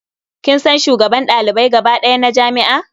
Kin san shugaban ɗalibai gaba ɗaya na jami'a?